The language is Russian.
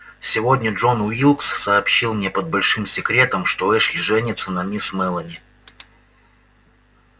сегодня джон уилкс сообщил мне под большим секретом что эшли женится на мисс мелани